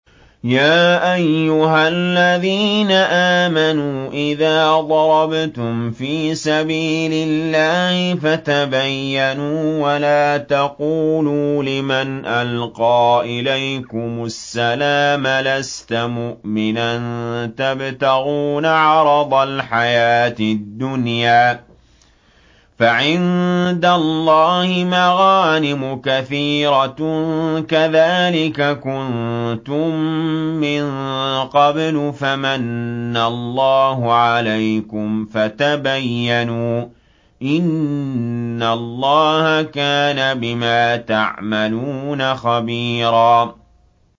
يَا أَيُّهَا الَّذِينَ آمَنُوا إِذَا ضَرَبْتُمْ فِي سَبِيلِ اللَّهِ فَتَبَيَّنُوا وَلَا تَقُولُوا لِمَنْ أَلْقَىٰ إِلَيْكُمُ السَّلَامَ لَسْتَ مُؤْمِنًا تَبْتَغُونَ عَرَضَ الْحَيَاةِ الدُّنْيَا فَعِندَ اللَّهِ مَغَانِمُ كَثِيرَةٌ ۚ كَذَٰلِكَ كُنتُم مِّن قَبْلُ فَمَنَّ اللَّهُ عَلَيْكُمْ فَتَبَيَّنُوا ۚ إِنَّ اللَّهَ كَانَ بِمَا تَعْمَلُونَ خَبِيرًا